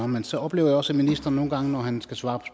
men så oplever jeg også at ministeren nogle gange når han skal svare